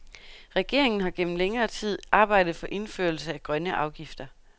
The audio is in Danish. Regeringen har gennem længere tid arbejdet for indførelse af grønne afgifter.